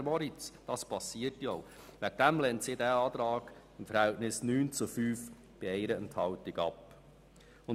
Deswegen wird diese Planungserklärung mit 9 Nein- zu 5 Ja-Stimmen bei einer Enthaltung abgelehnt.